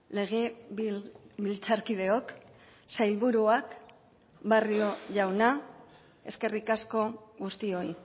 legebiltzarkideok sailburuak barrio jauna eskerrik asko guztioi